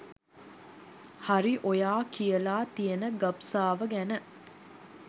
හරි ඔයා කියලා තියන ගබ්සාව ගැන